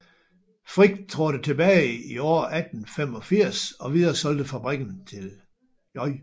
Frich trådte tilbage i år 1885 og videresolgte fabrikken til J